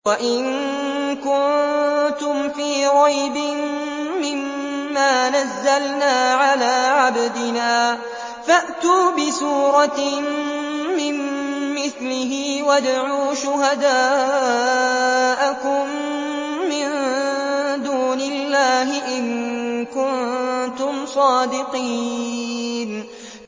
وَإِن كُنتُمْ فِي رَيْبٍ مِّمَّا نَزَّلْنَا عَلَىٰ عَبْدِنَا فَأْتُوا بِسُورَةٍ مِّن مِّثْلِهِ وَادْعُوا شُهَدَاءَكُم مِّن دُونِ اللَّهِ إِن كُنتُمْ صَادِقِينَ